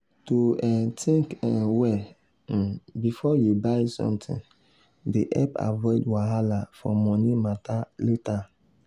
to um think um well um before you buy something dey help avoid wahala for money matter later.